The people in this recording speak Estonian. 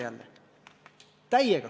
Täiega!